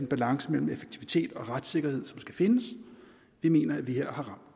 balance mellem effektivitet og retssikkerhed som skal findes jeg mener at vi her